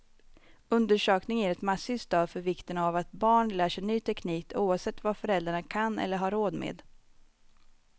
Undersökningen ger ett massivt stöd för vikten av att barn lär sig ny teknik, oavsett vad föräldrarna kan eller har råd med.